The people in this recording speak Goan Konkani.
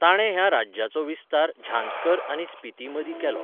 ताणें ह्या राज्याचो विस्तार झांस्कर आनी स्पीती मदीं केलो.